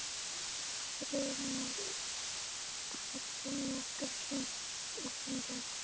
Friðmar, ferð þú með okkur á sunnudaginn?